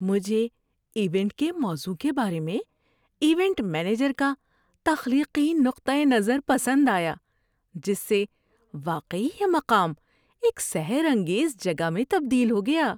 ‏مجھے ایونٹ کے موضوع کے بارے میں ایونٹ مینیجر کا تخلیقی نقطۂ نظر پسند آیا، جس سے واقعی یہ مقام ایک سحر انگیز جگہ میں تبدیل ہو گیا۔